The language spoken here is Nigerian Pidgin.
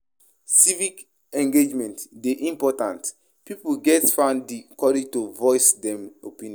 Civic engagement dey important; pipo gatz find di courage to voice dem opinion.